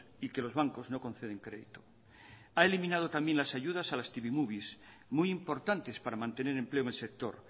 y que los bancos no conceden crédito a eliminado también las ayudas a las tv movies muy importantes para mantener empleo en el sector